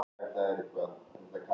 Samt var hún góð.